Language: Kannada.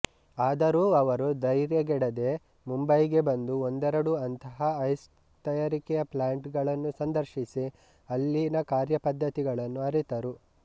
ಆದರೂ ಅವರು ಧರ್ಯಗೆಡದೆ ಮುಂಬಯಿಗೆ ಬಂದು ಒಂದೆರಡು ಅಂತಹ ಐಸ್ ತಯಾರಿಕೆಯ ಪ್ಲಾಂಟ್ ಗಳನ್ನು ಸಂದರ್ಶಿಸಿ ಅಲ್ಲಿನ ಕಾರ್ಯಪದ್ಧತಿಗಳನ್ನು ಅರಿತರು